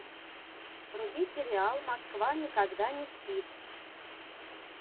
вруби сериал москва никогда не спит